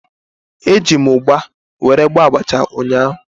Eji m ugba were gwọọ abacha ụnyaahụ